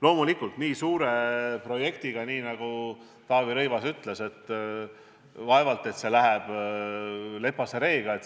Loomulikult, nii suure projekti puhul, nagu Taavi Rõivas ütles, vaevalt et kõik lepase reega läheb.